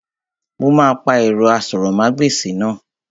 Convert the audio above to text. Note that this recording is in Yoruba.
Mo máa pa ẹ̀rọ asọ̀rọ̀mágbèsì náà